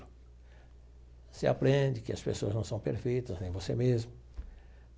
Você aprende que as pessoas não são perfeitas, nem você mesmo.